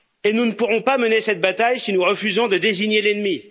Nous ne pourrons pas mener cette bataille si nous refusons de désigner l'ennemi.